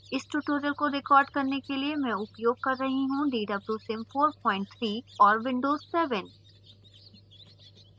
इस tutorial को record करने के लिए मैं उपयोग कर रही हूँ dwsim 43 और windows 7